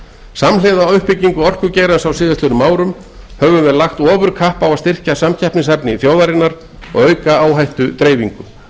samhliða uppbyggingu orkugeirans á síðastliðnum árum höfum við lagt ofurkapp á að styrkja samkeppnishæfni þjóðarinnar og auka áhættudreifingu